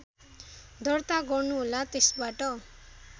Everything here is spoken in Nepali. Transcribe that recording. दर्ता गर्नुहोला त्यसबाट